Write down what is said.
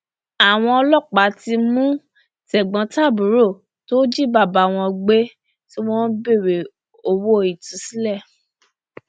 àwọn ọlọpàá ti mú tẹgbọntàbúrò tó jí bàbá wọn gbé tí wọn ń béèrè owó ìtúsílẹ